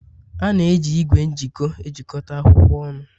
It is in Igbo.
A na-eji igwe m'jiko ejikọta akwụkwọ ọnụ